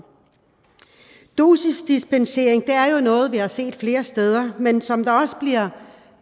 dosisdispensering er jo noget vi har set flere steder men som der også bliver